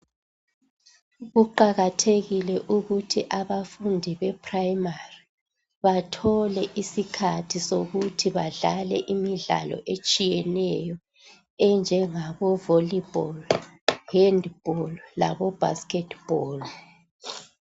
Kuqakathekile ukuthi abafundi beprimary, bathole isikhathi sokuthi badlale imidlalo etshiyeneyo. EnjengaboVolleyball, Handball laboBasketball.